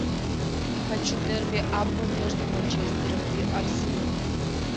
хочу дерби апл между манчестером и арсеналом